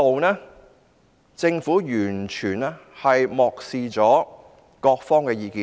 就此，政府完全漠視各方的意見。